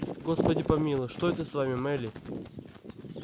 господи помилуй что это с вами мелли